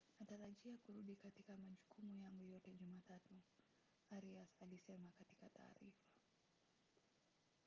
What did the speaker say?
natarajia kurudi katika majukumu yangu yote jumatatu,” arias alisema katika taarifa